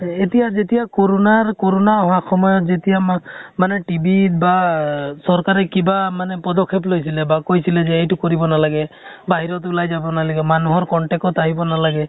এতিয়া যেতিয়া কৰʼণাৰ কৰʼণা হোৱা সময়ত যেতিয়া মাহ মানে TV ত বা আহ চৰকাৰে কিবা মানে পদক্ষেপ লৈছিলে বা কৈছিলে যে এইটো কৰিব নালাগে, বাহিৰত ওলাই যাব নালাগে, মানুহৰ contact ত আহিব নালাগে